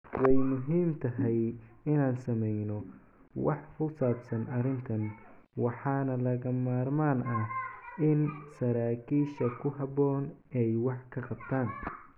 "Way muhiim tahay inaan sameyno wax ku saabsan arrintan, waxaana lagama maarmaan ah in saraakiisha ku habboon ay wax ka qabtaan."